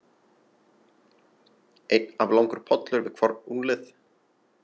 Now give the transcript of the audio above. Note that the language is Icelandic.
Einn aflangur pollur við hvorn úlnlið.